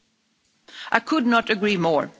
I could not agree more.